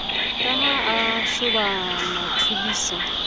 ke ha a shoba mathobisa